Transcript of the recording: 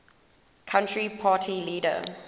country party leader